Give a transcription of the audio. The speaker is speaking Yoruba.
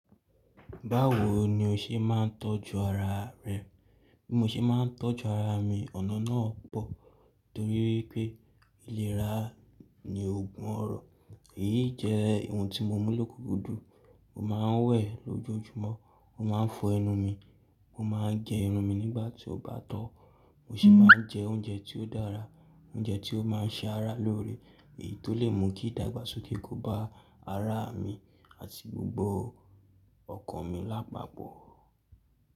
Báwo ni o ṣe máa ń tọ́jú ara rẹ? Bí mo ṣe máa ń tọ́jú ara mi, ọ̀nà náà pọ̀ torí pé ìlera ni ògùn ọrọ. Èyí jẹ ohun tí mo mú lókùkúúdùn, mo maa n wẹ̀ lójoojúmọ́, mo maa n fọ ẹnu mi, mo maa n gẹ irun mi nígbà tí ó bá tọ́, mo sì máa ń jẹ oúnjẹ tí ó dára, óúnjẹ tí ó ma ń ṣe ara lóore. Èyí tó lè mú kí ìdàgbàsókè kó ba ara mi àti gbogbo ọkàn mi lápapọ̀.